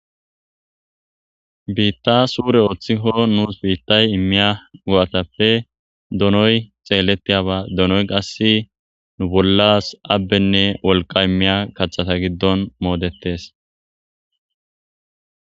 Bita sure otiko nusu bitay imiya go'atape donoyi xeletiyaba donoy qase nu bollas abenne woqa imiya qathata gidon modetes